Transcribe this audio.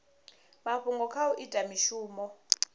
mafhungo kha u ita mishumo